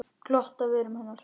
Glott á vörum hennar.